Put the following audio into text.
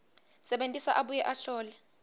sebentisa abuye ahlole